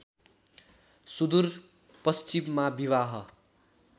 सुदूर पश्चिममा विवाह